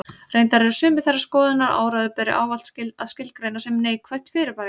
Reyndar eru sumir þeirrar skoðunar að áróður beri ávallt að skilgreina sem neikvætt fyrirbæri.